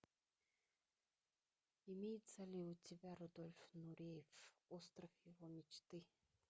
имеется ли у тебя рудольф нуриев остров его мечты